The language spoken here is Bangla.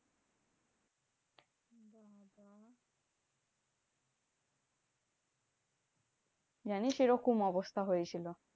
জানিস এরকম অবস্থা হয়েছিল?